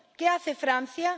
¿qué hace Francia?